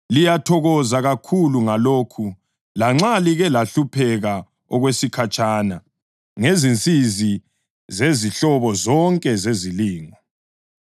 Liyathokoza kakhulu ngalokhu lanxa like lahlupheka okwesikhatshana ngezinsizi zezinhlobo zonke zezilingo.